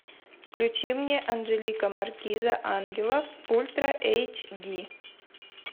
включи мне анжелика маркиза ангелов ультра эйч ди